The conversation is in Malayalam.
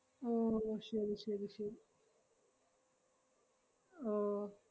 ഓ ശെരി ശെരി ശെരി ഓ